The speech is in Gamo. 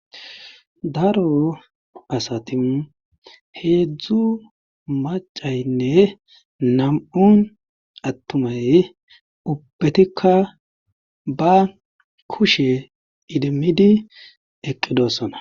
daro asati heedzdzu macaynne nam7un attumay ubbetikka ba kushe idimmidi eqqidossona